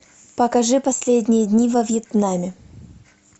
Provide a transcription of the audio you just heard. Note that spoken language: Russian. покажи последние дни во вьетнаме